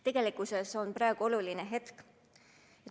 Tegelikkuses on praegu oluline hetk.